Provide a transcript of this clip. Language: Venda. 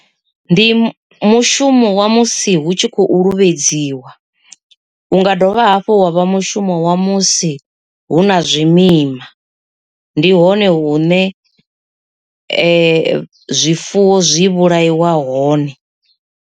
Ndi mushumo wa musi hu tshi khou luvhedziwa. Hu nga dovha hafhu wa vha mushumo wa musi hu na zwimima, ndi hone hune zwifuwo zwi vhulaiwa hone.